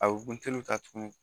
A bɛ buteliw ta tuguni